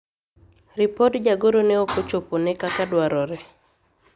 ripod jagoro ne ok ochopone kaka dwarore